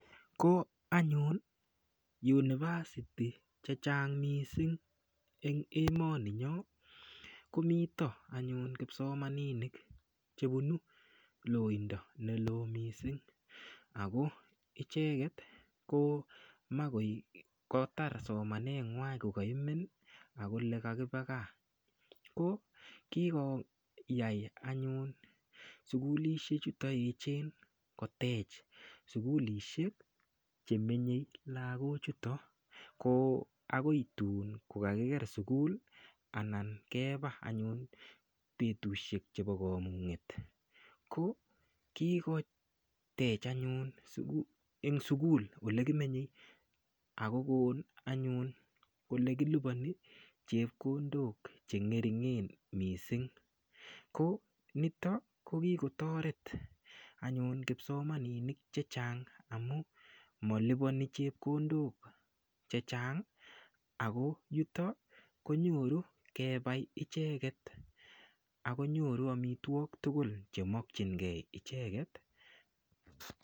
Ko anyun university che chang mising eng emoni nyo komito anyun kipsomaninik chepunu loindo ne loo mising ako icheket ko makoi kotar somaneng'wany kokaimen akole kakiba gaa ko kikoyai anyun sukulishek chuto yechen kotech sukulishek chemenyei lakochuto ko akoi tuun kokakiker sukul anan keba anyun betushek chebo komung'et ko kikotech anyun eng sukul olekimenyei akokon anyun kole kiliponi chepkondok chengeringen missing ko nito ko kikotoret anyun kipsomaninik che chang amu malipani chepkondok che chang ako yutok konyoru kepai icheket akonyoru amitwok tugul chemakchingei icheket.